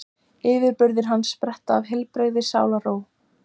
Yfirburðir hans spretta af heilbrigðri sálarró.